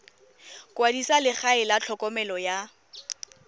kwadisa legae la tlhokomelo ya